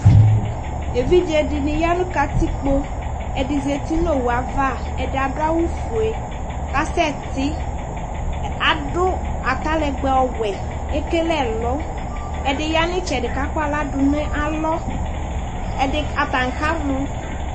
evidze dini ya no katikpo ɛdi zati n'owu ava ɛdi ado awu fue kasɛ ti ado atalɛgbɛ ɔwɛ ekele ɛlu ɛdi ya n'itsɛdi k'akɔ ala do n'ɛlɔ ɛdi atani kamɔ